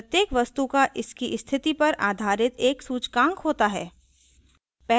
प्रत्येक वस्तु का इसकी स्थिति पर आधारित एक सूचकांक होता है